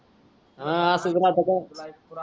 हा तू तर आता काय